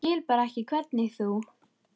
Ég skil bara ekki hvernig þú.